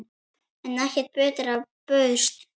En ekkert betra bauðst.